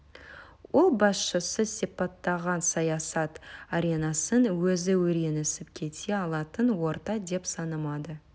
ол басшысы сипаттаған саясат аренасын өзі үйренісіп кете алатын орта деп санамады